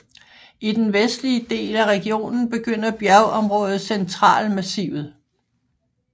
I den vestlige del af regionen begynder bjergområdet Centralmassivet